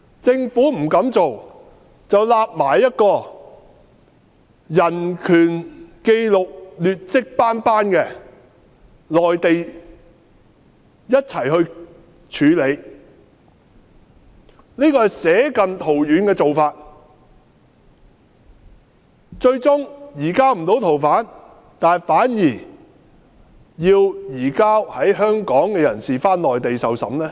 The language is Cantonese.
政府不這樣做，卻一併處理移交逃犯至人權紀錄劣跡斑斑的內地，這是捨近圖遠的做法，最終不能移交逃犯至台灣，反而卻移交在香港的人士到內地受審。